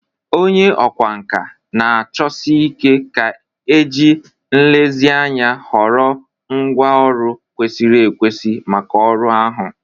Onye ọkwá nkà na-achọsi ike ga-eji nlezianya họrọ ngwá ọrụ kwesịrị ekwesị maka ọrụ ahụ.